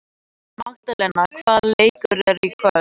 Magdalena, hvaða leikir eru í kvöld?